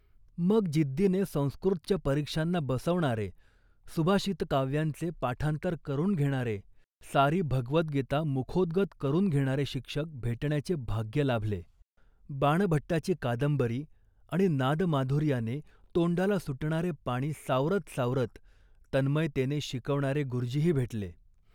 मग, जिद्दीने संस्कृतच्या परीक्षांना बसवणारे, सुभाषितकाव्यांचे पाठांतर करून घेणारे, सारी भगवद्गीता मुखोद्गत करून घेणारे शिक्षक भेटण्याचे भाग्य लाभले. बाणभट्टाची कादंबरी आणि नादमाधुर्याने तोंडाला सुटणारे पाणी सावरत सावरत तन्मयतेने शिकवणारे गुरुजीही भेटले